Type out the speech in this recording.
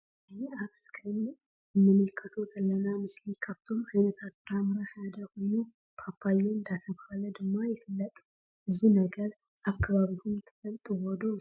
እዚ ኣብ እስኪርን እንምልከቶ ዘለና መስሊ ካብቶም ዓይነታት ፍረ ምረ ሓደ ኮይኑ ፓፓያ ዳተብሃለ ድማ ይፍለጥ ማለት እዩ ።እዚ ነገር ኣብ ከባቢኩም ትፈልጥዎ ዶ?